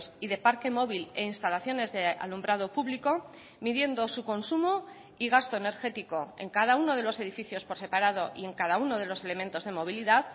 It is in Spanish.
y de parquee móvil e instalaciones de alumbrado público midiendo su consumo y gasto energético en cada uno de los edificios por separado y en cada uno de los elementos de movilidad